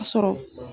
A sɔrɔ